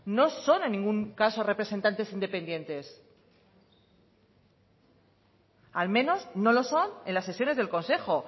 no son en ningún caso representantes independientes al menos no lo son en las sesiones del consejo